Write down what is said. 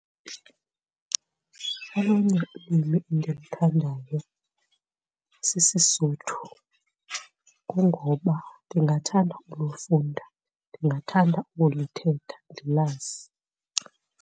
Olunye ulwimi endiluthandayo sisiSotho, kungoba ndingathanda ulufunda ndingathanda ukulithetha ndilazi.